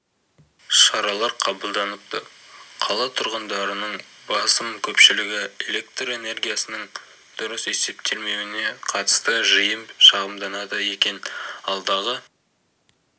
шаралар қабылданыпты қала тұрғындарының басым көпшілігі электр энергиясының дұрыс есептелмеуіне қатысты жиі шағымданады екен алдағы